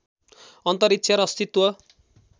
अन्तरिक्ष र अस्तित्व